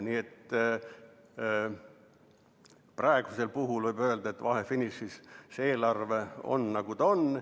Nii et praegu võib öelda, et vahefinišis see eelarve on, nagu ta on.